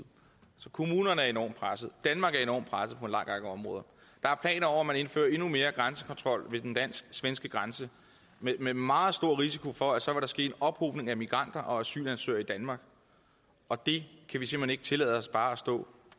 kommunerne er enormt presset danmark er enormt presset på en lang række områder der er planer om at indføre endnu mere grænsekontrol ved den dansk svenske grænse med meget stor risiko for at så vil der ske en ophobning af migranter og asylansøgere i danmark og det kan vi simpelt hen ikke tillade os bare at stå